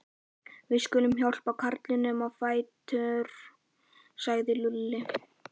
Við skulum hjálpa karlinum á fætur sagði Lúlli.